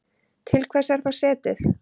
Til hvers er þá setið?